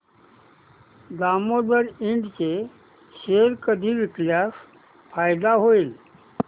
दामोदर इंड चे शेअर कधी विकल्यास फायदा होईल